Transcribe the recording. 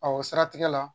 o siratigɛ la